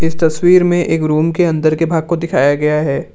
इस तस्वीर में एक रूम के अंदर के भाग को दिखाया गया है।